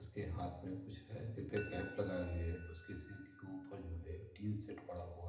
उसके हाथ में कुछ है सिर पे केप लगाए हुये है उसके सिर के ऊपर जो है टीनसेट पड़ा हुआ है।